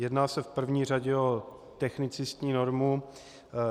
Jedná se v první řadě o technicistní normu.